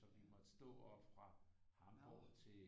Så vi måtte stå op fra Hamborg til